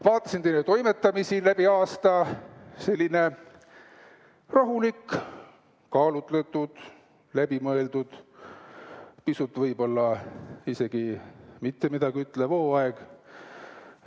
Vaatasin teie toimetamisi läbi aasta, selline rahulik, kaalutletud, läbi mõeldud, pisut võib-olla isegi mitte midagi ütlev hooaeg.